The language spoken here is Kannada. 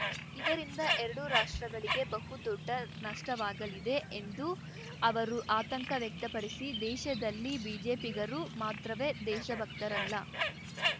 ಇದರಿಂದ ಎರಡೂ ರಾಷ್ಟ್ರಗಳಿಗೆ ಬಹುದೊಡ್ಡ ನಷ್ಟವಾಗಲಿದೆ ಎಂದು ಅವರು ಆತಂಕ ವ್ಯಕ್ತಪಡಿಸಿ ದೇಶದಲ್ಲಿ ಬಿಜೆಪಿಗರು ಮಾತ್ರವೇ ದೇಶಭಕ್ತರಲ್ಲ